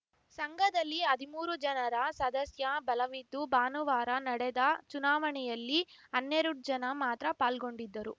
ಸಂಘದಲ್ಲಿ ಹದಿಮೂರು ಜನರ ಸದಸ್ಯ ಬಲವಿದ್ದು ಭಾನುವಾರ ನಡೆದ ಚುನಾವಣೆಯಲ್ಲಿ ಹನ್ನೆರಡು ಜನ ಮಾತ್ರ ಪಾಲ್ಗೊಂಡಿದ್ದರು